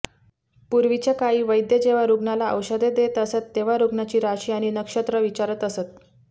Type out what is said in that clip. पूर्वीच्या काळी वैद्य जेव्हा रुग्णाला औषधे देत असत तेंव्हा रुग्णाची राशी आणि नक्षत्र विचारात असत